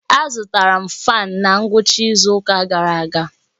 Azụtara m fáan na ngwụcha izu ụka gara aga